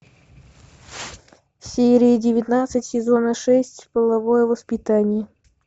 серия девятнадцать сезона шесть половое воспитание